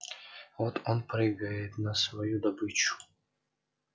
вот он прыгает на свою добычу